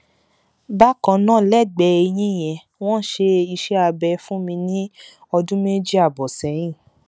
bákan náà lẹgbẹẹ eyín yẹn wọn ṣe iṣẹ abẹ fún mi ní ọdún méjì ààbọ sẹyìn